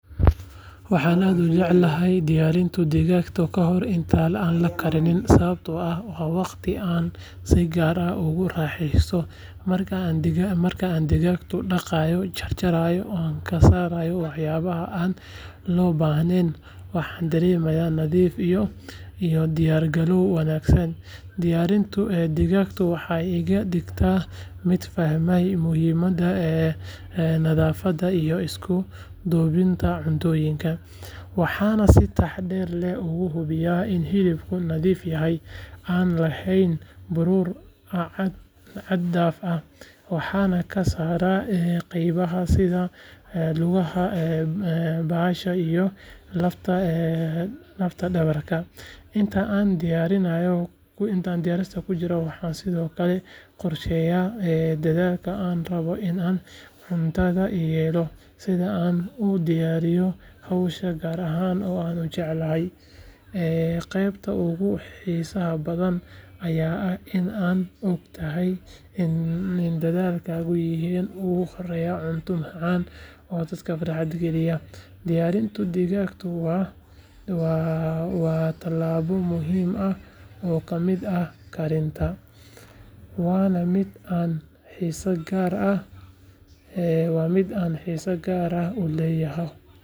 Markaad aragto koox shaqaale caafimaad ah oo sita qalab casri ah sida iPad waxaad markiiba fahmaysaa in la adeegsanayo tignoolajiyad si loo fududeeyo adeega caafimaad ee la gaarsiinayo bulshada shaqaalahaasi waxay u socdaan inay ururiyaan xog caafimaad oo muhiim ah, sameeyaan diiwaangelin bukaanno, ama u hubiyaan bukaanada xaaladooda caafimaad iyadoo xogta lagu keydinayo si sax ah iPad-ka waxay u sahlaysaa inay si degdeg ah u helaan taariikh caafimaad, u diraan warbixino, ama u fuliyaan kormeerro caafimaad gaar ahaan meelaha fogfog ama aan lahayn xarumo buuxa oo caafimaad waxa kale oo suuragal ah in xogta la qaato loogu gudbiyo xarumaha caafimaad si loogu helo talo bixin iyo daaweyn habboon arrintan waxay tusaale u tahay sida tiknoolajiyadu u fududeysay howlaha caafimaadka ayna sare ugu qaaday tayada adeegyada la bixiyo.